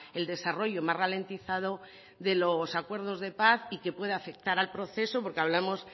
el desarrollo más ralentizado de los acuerdos de paz y que puede afectar al proceso porque hablamos